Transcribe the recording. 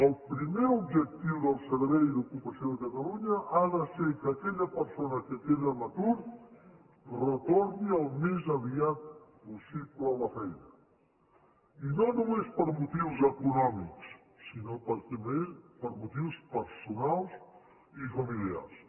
el primer objectiu del servei d’ocupació de catalunya ha de ser que aquella persona que queda en atur retorni al més aviat possible a la feina i no només per motius econòmics sinó també per motius personals i familiars